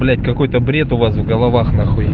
блять какой-то бред у вас в головах нахуй